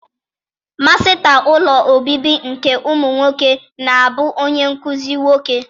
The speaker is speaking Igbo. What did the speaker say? Masịta ụlọ obibi nke ụmụ nwoke na-abụ onye nkụzi nwoke.